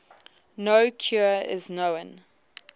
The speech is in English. no cure is known